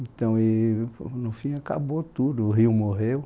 Então e, no fim, acabou tudo, o rio morreu.